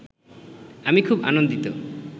আমি খুব আনন্দিত